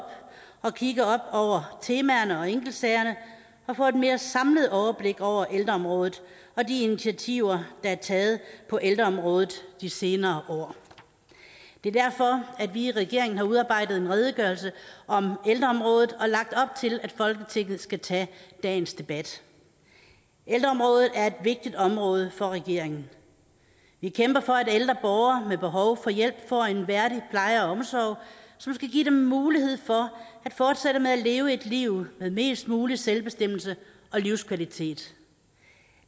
og kigge op over temaerne og enkeltsagerne og få et mere samlet overblik over ældreområdet og de initiativer der er taget på ældreområdet de senere år det er derfor at vi i regeringen har udarbejdet en redegørelse om ældreområdet og lagt op til at folketinget skal tage dagens debat ældreområdet er et vigtigt område for regeringen vi kæmper for at ældre borgere med behov for hjælp får en værdig pleje og omsorg som skal give dem mulighed for at fortsætte med at leve et liv med mest mulig selvbestemmelse og livskvalitet